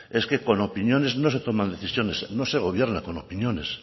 es que con opiniones no se toman decisiones no se gobierna con opiniones